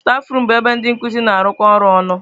Stafurum bụ ebe ndị nkuzi na-arụkọ ọrụ ọnụ.